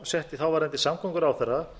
setti þáverandi samgönguráðherra